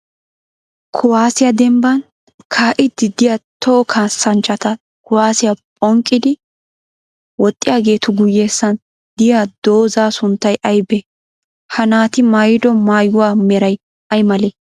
Kuwaasiya dembban kaa'iiddi diyaa toho kaassanchchati kuwaasiya ponqqiiddi woxxiyaageetu guyyessan diya dozzaa sunttay ayibee? Ha naati mayyido mayyuwaameray ayi malee?